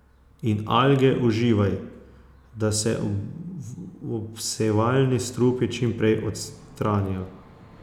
In alge uživaj, da se obsevalni strupi čim prej odstranijo.